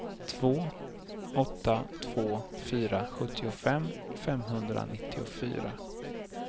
två åtta två fyra sjuttiofem femhundranittiofyra